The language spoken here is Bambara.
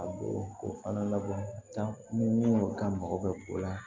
A b'o o fana labɔ ni ka mago bɛ o la